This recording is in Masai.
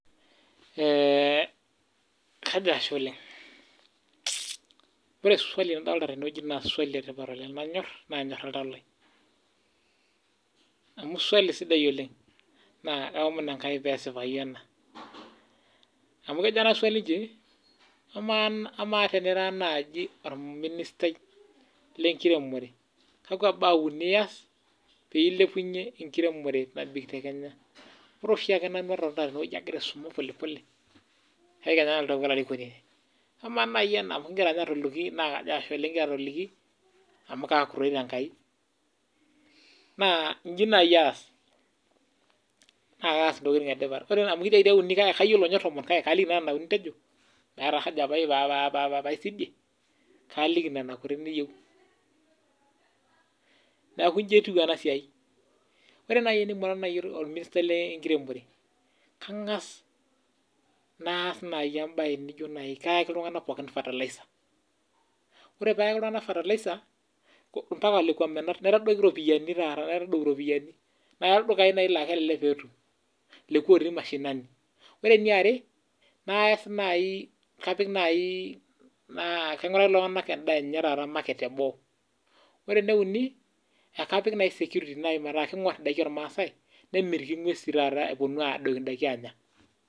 Ore oshiake nanu agira aisuma polipole naa kayieu Kenya naaku olarikoni In'ji nai aas naa kaas indokiting etipat meeta aja pee aisidie kaaliki nena kuti niyieu Kangas ayaki iltunganak pookin fertilizers mpaka lekwa menat naitadoi iropiani Ore eniare naa kainguraki iltunganak osokoni lenche teboo ore enieuni naa kapik nai iltunganak oingur ashu arrhip indaiki olmaasae pee menya ing'wesi